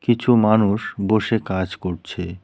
কিছু মানুষ বসে কাজ করছে।